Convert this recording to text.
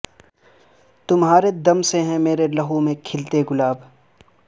تمہا رے دم سے ہیں میرے لہو میں کھلتے گلاب